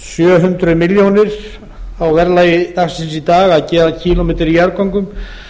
sjö hundruð milljónir á verðlagi dagsins í dag að gera kílómetra í jarðgöngum